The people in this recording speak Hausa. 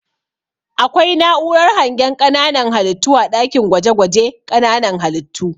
Akwai na'urar hangen ƙananan halittu a ɗakin gwaje-gwaje ƙananan halittu.